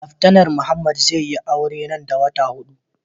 Laftanar Muhammed zai yi aure nan da wata hudu.